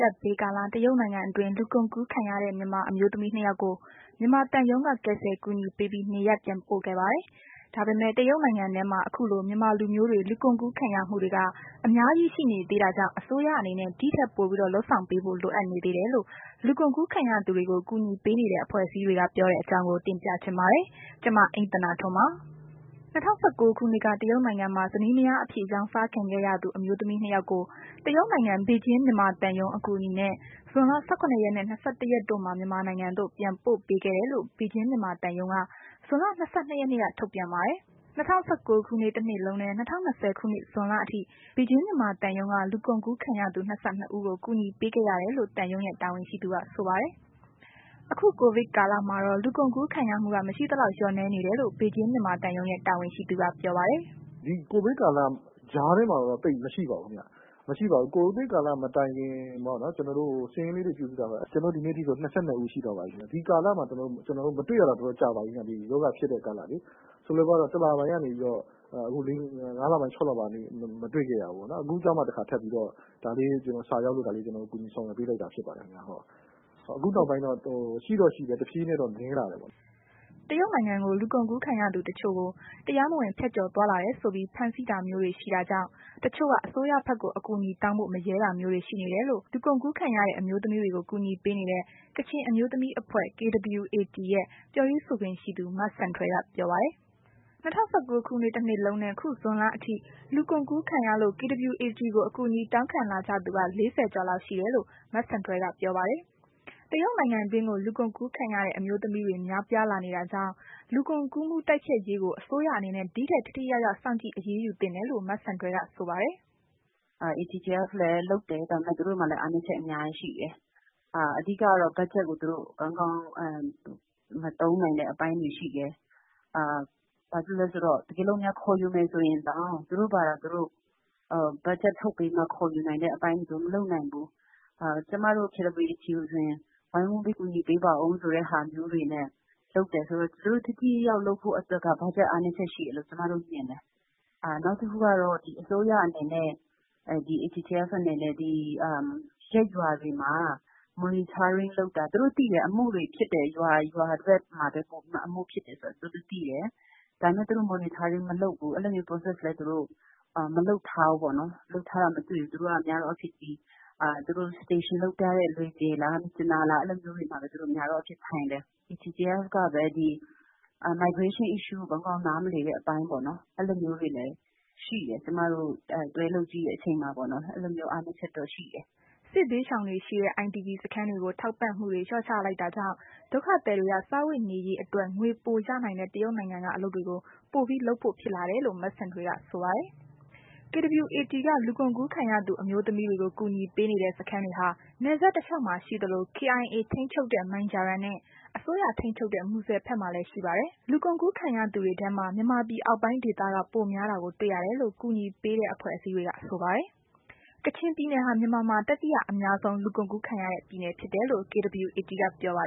ကပ်ဘေးကာလ တရုတ်နိုင်ငံတွင်း လူကုန်ကူးခံရတဲ့ မြန်မာအမျိုးသမီးနှစ်ယောက်ကို မြန်မာသံရုံးက ကယ်ဆယ်အကူအညီပေးပြီး နေရပ်ပြန်ပို့ခဲ့ပါတယ်။ ဒါပေမဲ့ တရုတ်နိုင်ငံထဲမှာ ခုလို မြန်မာလူမျိုးတွေ လူကုန်ကူးခံရမှုတွေက အများကြီး ရှိနေသေးတာကြောင့် အစိုးရအနေနဲ့ ဒီထက်ပိုပြီး လုပ်ဆောင်ပေးဖို့ လိုအပ်နေသေးတယ်လို့ လူကုန်ကူးခံရသူတွေကို ကူညီပေးနေတဲ့ အဖွဲ့အစည်းတွေက ပြောတဲ့အကြောင်းကို ဗွီအိုအေမြန်မာပိုင်းသတင်းထောက် မအိမ့်သန္တာထွန်းက တင်ပြပေးပါမယ်။ ၂၀၁၉ ခုနှစ်က တရုတ်နိုင်ငံမှာ ဇနီးမယားအဖြစ် ရောင်းစားခံခဲ့ရသူ အမျိုးသမီးနှစ်ယောက်ကို တရုတ်နိုင်ငံ ပေကျင်းမြန်မာသံရုံး အကူအညီနဲ့ ဇွန်လ ၁၇ ရက်နဲ့ ၂၁ ရက်တို့မှာ မြန်မာနိုင်ငံသို့ ပြန်ပို့ပေးခဲ့တယ်လို့ ပေကျင်းမြန်မာသံရုံးက ဇွန်လ ၂၂ ရက်နေ့က ထုတ်ပြန်ပါတယ်။ ၂၀၁၉ ခုနှစ် တစ်နှစ်လုံးနဲ့ ၂၀၂၀ ခုနှစ် ဇွန်လအထိ ပေကျင်း မြန်မာသံရုံးက လူကုန်ကူးခံရသူ ၂၂ ဦးကို ကူညီပေးခဲ့ရတယ်လို့ သံရုံးရဲ့ တာဝန်ရှိသူက ဆိုပါတယ်။ အခု ကိုဗစ်ကာလမှာတော့ လူကုန်ကူးခံရမှုက မရှိသလောက် လျော့နည်းနေတယ်လို့ ပေကျင်းမြန်မာသံရုံးရဲ့ တာဝန်ရှိသူက ပြောပါတယ်။ “ကိုဗစ်ကာလ ဒီကြားထဲမှာတော့သိပ်မရှိပါဘူး ခင်ဗျ။ မရှိပါဘူး။ ကိုဗစ်ကာလမတိုင်ခင်ပေါ့နော်... ကျနော်တို့ စာရင်းလေးတွေပြုစုထားပါတယ်။ ကျနော်တို့ ဒီနေ့ထိဆို ၂၂ ဦးရှိသွားပါပြီခင်ဗျ။ ဒီကာလမှာ မတွေ့ရတာတော်တော်ကြာပါပြီခင်ဗျ။ ဒီရောဂါဖြစ်တဲ့ကာလလေ၊ ဆိုတော့ တလပိုင်းကနေပြီးတော့ ၅ လပိုင်း ၆ လပိုင်းထိ မတွေ့ခဲ့ရဘူးပေါ့။ အခုကျမှ ဒါလေးက ကျနော်တို့ဆီစာရောက်လာလို့ ကူညီဆောင်ရွက်ပေးလိုက်တာ ဖြစ်ပါတယ်ခင်ဗျ။ အခုနောက်ပိုင်းတော့ ရှိတော့ရှိတယ် နည်းလာတယ်ပေါ့လေ။” တရုတ်နိုင်ငံကို လူကုန်ကူးခံရတဲ့သူ တချို့ကို တရားမဝင် ဖြတ်ကျော်သွားလာတယ်ဆိုပြီး ဖမ်းဆီးတာမျိုးတွေ ရှိတာကြောင့် တချို့က အစိုးရဘက်ကို အကူအညီတောင်းဖို့ မရဲတာမျိုးတွေရှိနေတယ်လို့ လူကုန်ကူးခံရတဲ့ အမျိုးသမီးတွေကို ကူညီပေးနေတဲ့ ကချင်အမျိုးသမီးအဖွဲ့ ရဲ့ ပြောရေးဆိုခွင့်ရှိသူ မဆန်ထွယ်က ပြောပါတယ်။ ၂၀၁၉ ခုနှစ်တစ်နှစ်လုံးနှင့် ခုဇွန်လအထိ လူကုန်ကူးခံရလို့ KWAT ကို အကူအညီတောင်းခံလာကြသူက ၄၀ ကျော်လောက်ရှိတယ်လို့ မဆန်ထွယ်က ပြောပါတယ်။ တရုတ်နိုင်ငံတွင်းကို လူကုန်ကူးခံရတဲ့ အမျိုးသမီးတွေ များပြားလာနေတာကြောင့် လူကုန်ကူးမှု တိုက်ဖျက်ရေးကို အစိုးရအနေနဲ့ ဒီထက်ထိထိရောက်ရောက် စောင့်ကြည့်အရေးယူသင့်တယ်လို့ မဆန်ထွယ်က ပြောပါတယ်။ “ATTF (anti trafficking task force) လည်း လုပ်တယ်။ ဒါပေမဲ့ သူတို့မှာလည်း အားနည်းချက် အများကြီးရှိတယ်။ တစ်ခုကတော့ သူတို့ ဘတ်ဂျက်ကို ကောင်းကောင်းမသုံးနိုင်တဲ့ အပိုင်းတွေရှိတယ်။ ဘာဖြစ်လို့လဲဆိုတော့ တကယ်လို့များ ခေါ်ယူမယ်ဆိုရင်တောင် သူတို့ဘာသာ သူတို့ ဘတ်ဂျက်ထုတ်ပြီးတော့ ခေါ်တာမျိုးတွေ မလုပ်နိုင်ဘူး။ ကျမတို့ KWAT ကို ဝိုင်းဝန်းပြီး ကူညီပေးပါအုံးဆိုတာမျိုးတွေနဲ့ လုပ်တယ်ဆိုတော့ သူတို့ ထိထိရောက်ရောက်လုပ်ဖို့အတွက်က ဘတ်ဂျက် အားနည်းချက်ရှိတယ်လို့ ကျမတို့ မြင်တယ်။ နောက်တစ်ခုကတော့ အစိုးရအနေနဲ့ ရပ်ရွာတွေမှာ သူတို့သိတယ်။ အမှုတွေဖြစ်တဲ့ ရွာတွေ ဘယ်ရွာတွေ ပုံမှန် အမှုဖြစ်တယ်ဆိုတာသိတယ်။ ဒါပေမဲ့ သူတို့ Monitoring မလုပ်ဘူး။ အဲလိုမျိုး Process လည်း သူတို့ မလုပ်ထားဘူးပေါ့နော်။ သူတို့က များသောအားဖြင့် ဒီ သူတို့ Station လုပ်ထားတဲ့ လွယ်ဂျယ်လား မြစ်ကြီးနားလားပေါ့ အဲ့လိုမျိုးတွေမှာပဲ သူတို့က များသော်အားဖြင့် ထိုင်တယ်။ ATTF ကပဲ လုပ်သားတွေရဲ့ ကိစ္စကို ကောင်းကောင်းနားမလည်တဲ့ အပိုင်းပေါ့နှော် ဒါမျိုးတွေလည်း ကျနော်တို့ တွဲလုပ်ကြည့်တဲ့ အချိန်မှာ အဲ့လိုမျိုးအားနည်းချက်တော့ ရှိတယ်။” စစ်ဘေးရှောင်တွေရှိတဲ့ IDP စခန်းတွေကို ထောက်ပံ့မှုတွေ လျှော့ချလိုက်တာကြောင့် ဒုက္ခသည်တွေက စားဝတ်နေရေးအတွက် ငွေပိုရနိုင်တဲ့ တရုတ်နိုင်ငံက အလုပ်တွေကို ပိုပြီး လုပ်ဖို့ဖြစ်လာတာဖြစ်တယ်လို့ မဆန်ထွယ်က ဆိုပါတယ်။ KWAT က လူကုန်ကူးခံရသူအမျိုးသမီးတွေကို ကူညီပေးနေတဲ့ စခန်းတွေဟာ နယ်စပ်တစ်လျှောက်မှာ ရှိသလို KIA ထိမ်းချုပ်တဲ့ မိုင်ဂျာရမ်နှင့် အစိုးရထိန်းချုပ်တဲ့ မူဆယ်ဘက်မှာလည်း ရှိတာပါ။ လူကုန်ကူးခံရသူတွေထဲမှာ မြန်မာပြည်အောက်ပိုင်းဒေသက ပိုများတာတွေ့ရတယ်လို့ ကူညီပေးတဲ့ အဖွဲ့အစည်းတွေက ဆိုပါတယ်။ ကချင်ပြည်နယ်ဟာ မြန်မာမှာ တတိယအများဆုံး လူကုန်ကူးခံရတဲ့ ပြည်နယ်ဖြစ်တယ်လို့ KWATက ပြောပါ